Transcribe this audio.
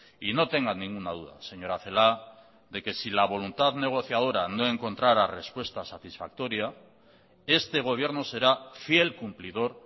y no tenga ninguna duda señora celaá de que si la voluntad negociadora no encontrara respuesta satisfactoria este gobierno será fiel cumplidor